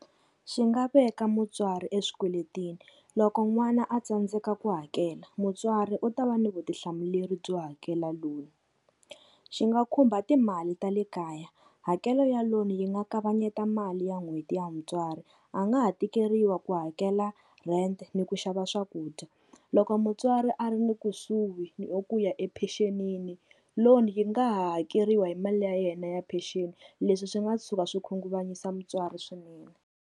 Xi nga veka mutswari eswikweletini, loko n'wana a tsandzeka ku hakela mutswari u ta va ni vutihlamuleri byo hakela loan. Xi nga khumba timali ta le kaya, hakelo ya loan yi nga kavanyeta mali ya n'hweti ya mutswari a nga ha tikeriwa ku hakela rent ni ku xava swakudya. Loko mutswari a ri ni kusuhi na ku ya epecenini loan yi nga hakeriwa hi mali ya yena ya pension leswi swi nga tshuka swi khunguvanyisa mutswari swinene.